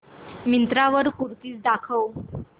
मिंत्रा वर कुर्तीझ दाखव